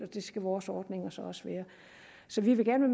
det skal vores ordninger så også være så vi vil gerne